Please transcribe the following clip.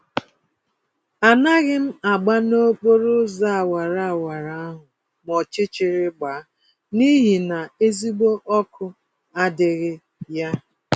Anaghịm agba nokporo ụzọ awara awara ahụ ma ọchịchịrị gbaa, n'ihi na ezigbo ọkụ adịghị ya